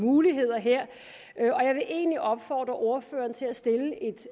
muligheder her og egentlig opfordre ordføreren til at stille